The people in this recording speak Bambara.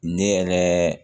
Ne yɛrɛ